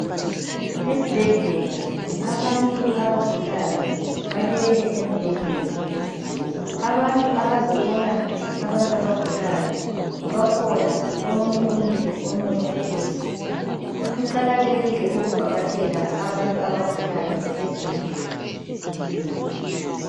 Esibhedlela abantu abagulayo balele embhedeni. Abantu abazobona abantu abagulayo, bakhona. Omunye umile, omunye uhlezi. Kuqakathekile ukuvakatshela abantu abagulayo esibhedlela.